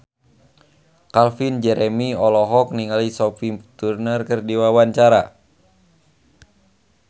Calvin Jeremy olohok ningali Sophie Turner keur diwawancara